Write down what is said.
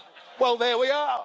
Well there we are.